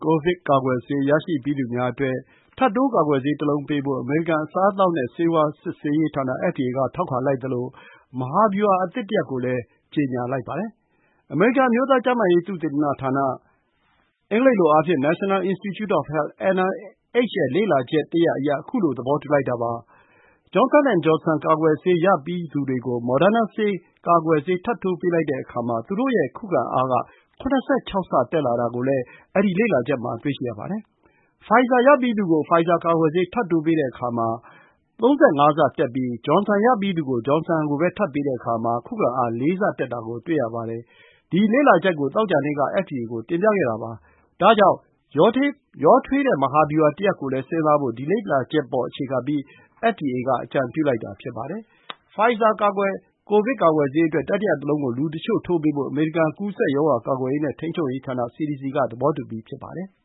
ကိုဗစ်ကာကွယ်ဆေး ဆေးရရှိပြီးသူများအတွက် ထပ်တိုးကာကွယ်ဆေး တလုံးပေးဖို့ အမေရိကန် အစားအသောက်နဲ့ဆေးဝါး စစ်ဆေးရေးဌာန FDA က ထောက်ခံလိုက်သလို မဟာဗျူဟာအသစ်တရပ်ကိုလည်း ကြေညာလိုက်ပါတယ်။ အမေရိကန် အမျိုးသားကျန်းမာရေးသုတေသနဌာန National Institutes of Health ရဲ့ လေ့လာချက်တရပ်အရ ခုလို သဘောတူလိုက်တာပါ။ Johnson & Johnson ကာကွယ်ဆေး ရပြီးသူတွေကို Moderna ကာကွယ်ဆေးထပ်ထိုးပေးတဲ့အခါ သူတို့ရဲ့ခုခံအားက ၇၆ ဆ တက်လာတာကို ဒီ လေ့လာချက်မှာ တွေ့ရှိရပါတယ်။ ဖိုင်ဇာရပြီးသူကို ဖိုင်ဇာကာကွယ်ဆေး ထပ်တိုးပေးတဲ့အခါ ၃၅ ဆ တက်ပြီး၊ ဂျွန်ဆန်ရပြီးသူကို ဂျွန်ဆန်ကိုပဲထပ်ပေးတဲ့အခါ ၄ ဆ တက်တာကို တွေ့ရပါတယ်။ ဒီလေ့လာချက်ကို သောကြာနေ့က FDA ကို တင်ပြခဲ့တာပါ။ဒါကြောင့် ရောထိုး မဟာဗျူဟာတရပ်ကိုလည်း ဒီ လေ့လာချက်ပေါ် အခြေခံပြီး FDA က အကြံပြုလိုက်တာ ဖြစ်ပါတယ်။ Pfizer ကိုဗစ်ကာကွယ်ဆေးအတွက် တတိယတလုံးကို လူတချို့ထိုးဖို့ အမေရိကန် ကူးစက် ရောဂါကာကွယ်ရေးနဲ့ ထိန်းချုပ်ရေးဌာန စီဒီစီ က သဘောတူပြီး ဖြစ်ပါတယ်။